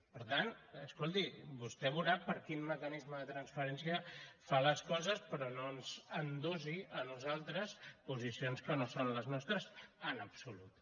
per tant escolti vostè veurà per quin mecanismes de transferència fa les coses però no ens endossi a nosaltres posicions que no són les nostres en absolut